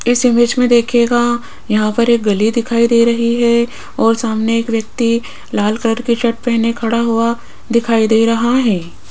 इस इमेज मे देखियेगा यहां पर एक गली दिखाई दे रही है और सामने एक व्यक्ति लाल कलर के शर्ट पहने खड़ा हुआ दिखाई दे रहा है।